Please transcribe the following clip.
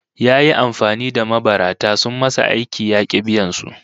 Yayi amfani da mabarata sun masa aiki ya ki biyan su